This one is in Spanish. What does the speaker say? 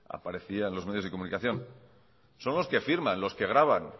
aparecía en los medios de comunicación son los que firman los que graban